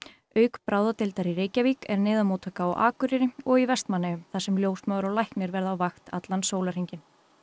auk bráðadeildar í Reykjavík er neyðarmóttaka á Akureyri og í Vestmannaeyjum þar sem ljósmóðir og læknir verða á vakt allan sólarhringinn